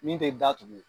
Min tɛ da tugun